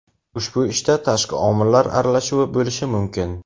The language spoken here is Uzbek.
ushbu ishda tashqi omillar aralashuvi bo‘lishi mumkin.